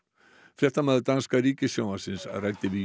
fréttamaður danska ríkissjónvarpsins ræddi við